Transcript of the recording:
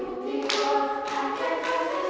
já